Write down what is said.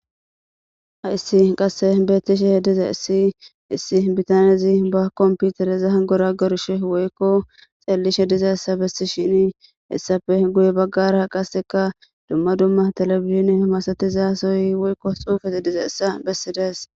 ha issi qasse bettishe diza issi issi bitaniyazi ba kompiutereza ha gora gorshe woykko xeellishe diza hessa bessi shini hessafe guye baggara qaseka dumma dumma telebizhin masatizasoy woykko xuufete diza issa bessi dees